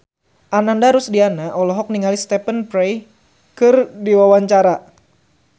Ananda Rusdiana olohok ningali Stephen Fry keur diwawancara